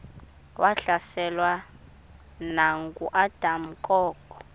wahlaselwa nanguadam kok